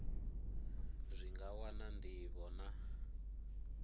zwi nga wana ndivho na